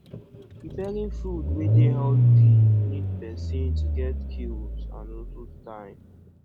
preparing food wey dey healthy need person to get skills and also time